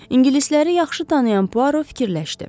İngilisləri yaxşı tanıyan Puaro fikirləşdi.